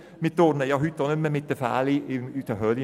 Wir turnen heute auch nicht mehr in Fellen in Höhlen herum.